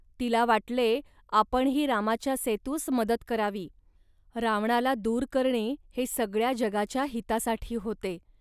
तिला वाटले, आपणही रामाच्या सेतूस मदत करावी. रावणाला दूर करणे हे सगळ्या जगाच्या हितासाठी होते